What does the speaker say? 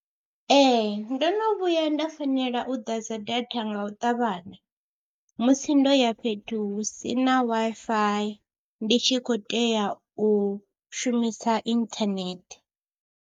Ee ndo no vhuya nda fanela u ḓadza data nga u ṱavhanya musi ndo ya fhethu hu si na Wi-Fi ndi tshi khou tea u shumisa inthanethe.